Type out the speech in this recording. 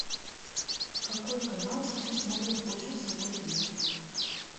какой канал сейчас смотрит больше всего людей